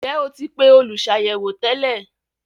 Ǹjẹ́ o ti pe “ olùsàyẹ̀wò” tẹ́lẹ̀?